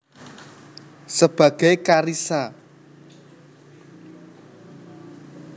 Sebagai Karissa